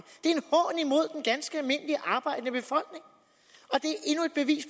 ganske almindelige arbejdende befolkning